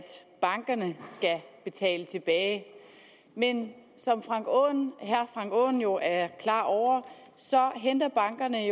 bankerne skal betale tilbage men som herre frank aaen jo er klar over henter bankerne